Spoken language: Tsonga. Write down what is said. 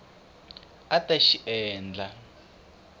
a a ta xi endla